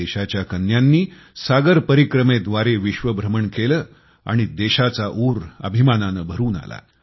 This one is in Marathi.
देशाच्या कन्यांनी सागर परीक्रमेद्वारे विश्व भ्रमण केले आणि देशाचा ऊर अभिमानाने भरून आला